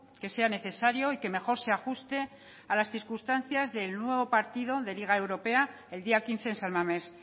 que sea necesario y que mejor se ajuste a las circunstancias del nuevo partido de liga europea el día quince en san mamés